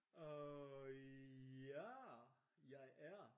øh ja jeg er